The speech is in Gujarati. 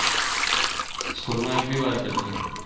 school માં એક ભી વાર fail નહિ